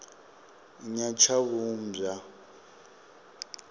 nyatshavhumbwa